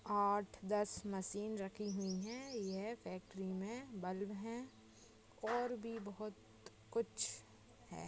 आठ दस मशीन रखी हुई है यह फेक्टरी मे बल्ब है और भी बहुत कुछ है।